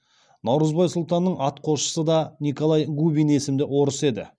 наурызбай сұлтанның атқосшысы да николай губин есімді орыс еді